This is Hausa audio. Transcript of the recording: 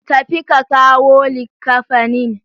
Tafi ka kawo likkafanin.